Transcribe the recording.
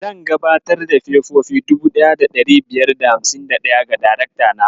Zan gabatar da fefofi 1551 ga darakta na.